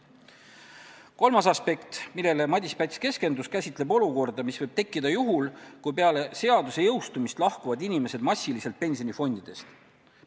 Kolmas aspekt, millele Madis Päts keskendus, käsitleb olukorda, mis võib tekkida juhul, kui peale seaduse jõustumist hakkavad inimesed massiliselt pensionifondidest lahkuma.